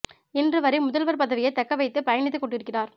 இன்று வரை முதல்வர் பதவியை தக்கவைத்து பயணித்து கொண்டிருக்கிறார்